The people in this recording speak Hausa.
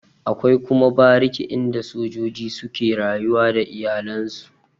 Akwai kuma bariki inda sojoji suke rayuwa da iyalen su.